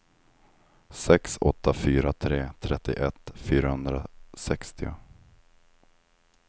sex åtta fyra tre trettioett fyrahundrasextio